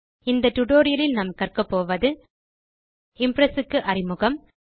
இந்த டியூட்டோரியல் லில் நாம் கற்கப்போவது இம்ப்ரெஸ் க்கு அறிமுகம்